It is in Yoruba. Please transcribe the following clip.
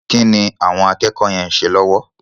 Kí ni àwọn akẹ́kọ̀ọ́ yẹn ń ṣe lọ́wọ́?